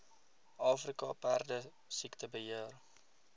afrika perdesiekte beheer